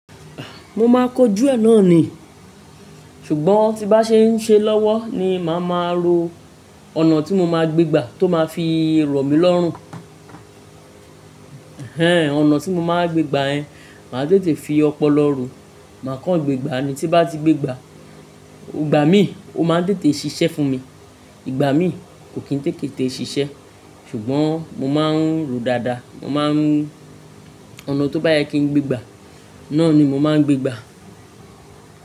Mo máa kọjú ẹ náà ni, ṣùgbọ́n tí bá ṣe ń ṣe lọ́wọ́ ni màá máa ro ọ̀nà tí mo máa gbé gbá tó máa fi rọ̀ mí lọ́rùn. Ehnehn ọ̀nà tí mo máa wa gbégbá yen, màá tètè fi ọpọlọ ro, màá kán gbé gbá ni. Ti n bá ti gbé gbá, igbà mí, o máa tètè ṣiṣẹ́ fún mi. Ìgbà mí ko kin tetete ṣiṣẹ́, ṣùgbọ́n mo máa ń rò dáadáa, mo máa ń r ọ̀nà tó bá yẹ kí n gbégbá, náà ni mo máa ń gbégbá.